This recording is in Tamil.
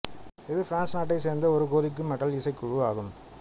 இது பிரான்சு நாட்டை சேர்ந்த ஒரு கோதிக்கு மெட்டல் இசைக்குழு ஆகும்